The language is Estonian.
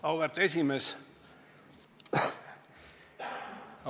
Auväärt esimees!